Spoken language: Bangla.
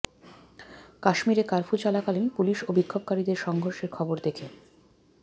কাশ্মীরে কার্ফু চলাকালীন পুলিশ ও বিক্ষোভকারীদের সংঘর্ষের খবর দেখে